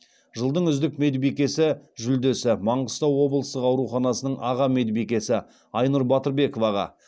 жылдың үздік медбикесі жүлдесі маңғыстау облыстық ауруханасының аға медбикесі айнұр батырбековаға